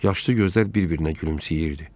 Yaşlı gözlər bir-birinə gülümsəyirdi.